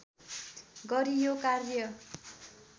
गरि यो कार्य